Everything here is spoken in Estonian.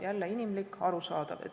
Jälle inimlik, arusaadav.